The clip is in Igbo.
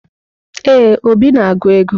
Ee, Obi na-agụ ego.